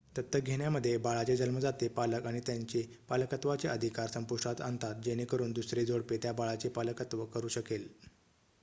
दत्तक घेण्यामध्ये बाळाचे जन्मदाते पालक त्यांचे पालकत्वाचे अधिकार संपुष्टात आणतात जेणेकरून दुसरे जोडपे त्या बाळाचे पालकत्व करू शकेल